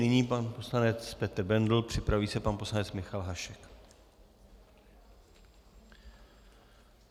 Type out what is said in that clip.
Nyní pan poslanec Petr Bendl, připraví se pan poslanec Michal Hašek.